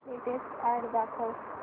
latest ad दाखव